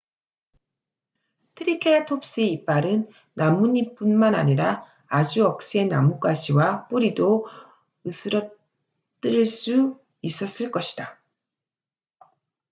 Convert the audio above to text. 트리케라톱스의 이빨은 나뭇잎뿐만 아니라 아주 억센 나뭇가지와 뿌리도 으스러뜨릴 수 있었을 것이다